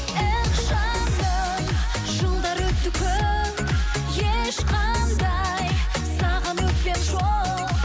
эх жаным жылдар өтті көп ешқандай саған өкпем жоқ